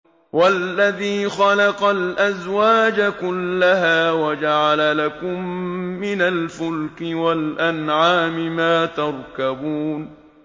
وَالَّذِي خَلَقَ الْأَزْوَاجَ كُلَّهَا وَجَعَلَ لَكُم مِّنَ الْفُلْكِ وَالْأَنْعَامِ مَا تَرْكَبُونَ